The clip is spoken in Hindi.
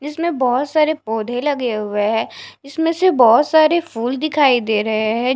जिसमें बहोत सारे पौधे लगे हुए हैं इसमें से बहोत सारे फूल दिखाई दे रहे हैं।